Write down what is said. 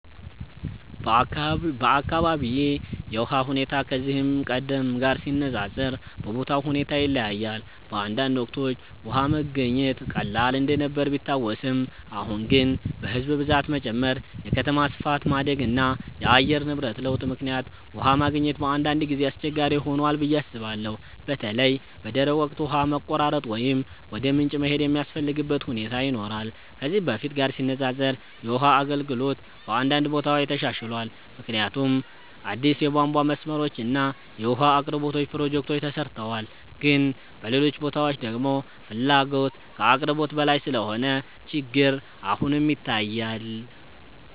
በአካባቢዬ የውሃ ሁኔታ ከዚህ ቀደም ጋር ሲነፃፀር በቦታው ሁኔታ ይለያያል። በአንዳንድ ወቅቶች ውሃ መገኘት ቀላል እንደነበር ቢታወስም፣ አሁን ግን በሕዝብ ብዛት መጨመር፣ የከተማ ስፋት ማደግ እና የአየር ንብረት ለውጥ ምክንያት ውሃ ማግኘት በአንዳንድ ጊዜ አስቸጋሪ ሆኗል ብዬ አስባለሁ። በተለይ በደረቅ ወቅት ውሃ መቆራረጥ ወይም ወደ ምንጭ መሄድ የሚያስፈልግበት ሁኔታ ይኖራል። ከዚህ በፊት ጋር ሲነፃፀር የውሃ አገልግሎት በአንዳንድ ቦታዎች ተሻሽሏል፣ ምክንያቱም አዲስ የቧንቧ መስመሮች እና የውሃ አቅርቦት ፕሮጀክቶች ተሰርተዋል። ግን በሌሎች ቦታዎች ደግሞ ፍላጎት ከአቅርቦት በላይ ስለሆነ ችግር አሁንም ይታያል።